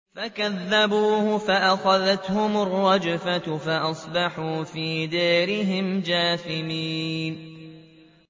فَكَذَّبُوهُ فَأَخَذَتْهُمُ الرَّجْفَةُ فَأَصْبَحُوا فِي دَارِهِمْ جَاثِمِينَ